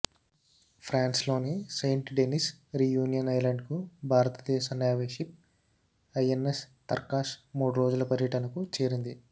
ఫ్రాన్స్లోని Saint Denis Reunion ఐలాండ్కు భారతదేశ navy ship INS Tarkash మూడు రోజుల పర్యటనకు చేరింది